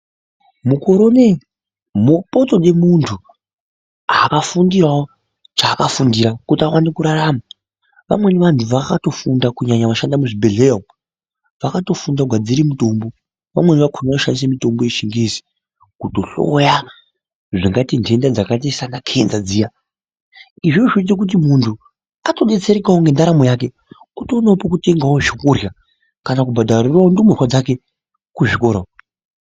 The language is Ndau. Mokore ineyi potode muntu akafundirawo chaakafundira kuita kuti awone kurarama , vamweni vantu vakatofunda kunyanya vemuzvibhedhlera umo vakatofunda kugadzire mutombo vamweni vakona vanoshandisa mutombo wechingezi kutohloya zvakaite ndenda dzakaita sana kenza dziya, izvozvo zvinoita kuti muntu atodetserekawo ngendaramo yake otoonawo pekutenga zvekurya kana kubhadharirawo ndumurwa dzake kuzvikora uko.